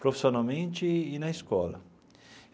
profissionalmente e na escola.